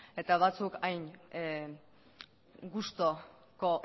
eta batzuk hain gustuko